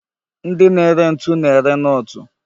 Ndi na-ere ntu na-ere nọọtụ